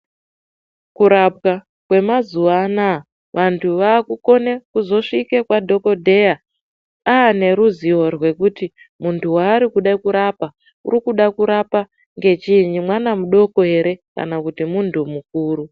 Kurapwa kwemazuwa anaa vantu vakukone kuzosvike kwadhokodheya ane ruzivo rwekuti muntu warikude kurapa urikuda kurapa ngechii mwana mudoko ere kana kuti muntu mukuru.